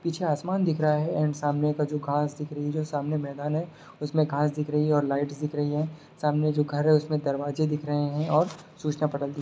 पीछे आसमान दिख रहा है एण्ड सामने का जो घांस दिख रही हैं जो सामने मैदान है उसमें घांस दिख रही हैं और लाइट्स दिख रही हैं सामने जो घर है उसमें दरवाजे दिख रहे हैं और सूचनापटल दिख --